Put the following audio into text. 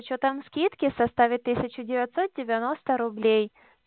с учётом скидки в составе тысяча девятьсот девяносто рублей